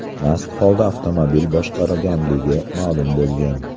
mast holda avtomobil boshqarganligi ma’lum bo‘lgan.